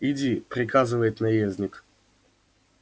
иди приказывает наездник